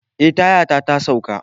Eh, tayata ta sauka.